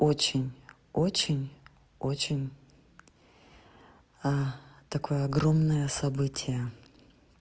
очень очень очень а такое огромное событие